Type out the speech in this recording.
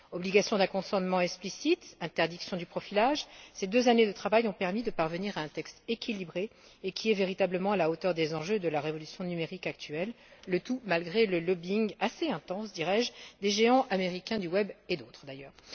Obligation d'un consentement explicite, interdiction du profilage ces deux années de travail ont permis de parvenir à un texte équilibré et qui est véritablement à la hauteur des enjeux de la révolution numérique actuelle, malgré le lobbying assez intense, dirais je, des géants américains du web et d'autres, d'ailleurs.